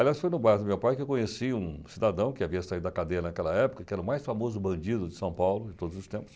Aliás, foi no bar do meu pai que eu conheci um cidadão que havia saído da cadeia naquela época, que era o mais famoso bandido de São Paulo de todos os tempos.